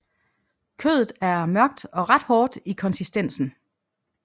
Kødet er mørkt og ret hårdt i konsistensen